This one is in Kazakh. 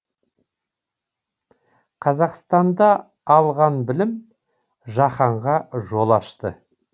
қазақстанда алған білім жаһанға жол ашты